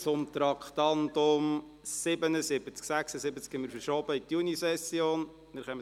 Das Traktandum 76 haben wir in die Junisession verschoben.